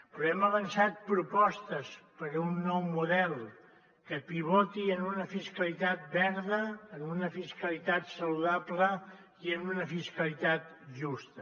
però hem avançat propostes per a un nou model que pivoti en una fiscalitat verda en una fiscalitat saludable i en una fiscalitat justa